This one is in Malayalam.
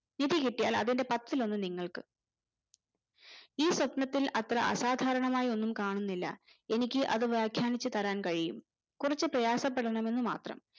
നിധി കിട്ടിയാൽ അതിന്റെ പത്തിൽ ഒന്ന് നിങ്ങൾക് ഈ സ്വപ്നത്തിൽ അത്ര അസാധാരണമായ ഒന്നും കാണുന്നില്ല എനിക്ക് അത് വ്യാഖ്യാനിച്ചു തരാൻ കഴിയും കൊറച്ചു പ്രയാസപെടണമെന്ന് മാത്രം